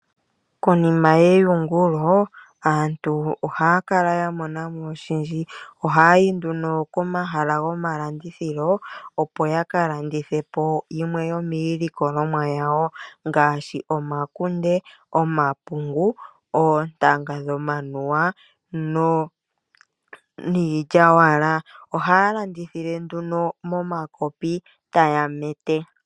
Konima yeyungulo aantu ohaya kala yamonamo oshindji ohayayi nduno komahala gomalandithilo opo yakalandithe po yimwe yomiilikolomwa yawo ngaashi, omakunde, omapungu, ok tanga dhomanuwa niilyawala. Ohaya landithile nduno momakopi taya mete.